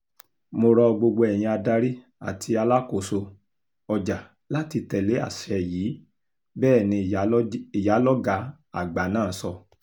mo ro gbogbo ẹ̀yin adarí àti alákòóso ọjà láti tẹ̀lé àṣẹ yìí bẹ́ẹ̀ ni ìyálọ́gà àgbà náà sọ